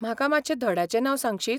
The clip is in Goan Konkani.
म्हाका मातशें धड्याचें नांव सांगशीत?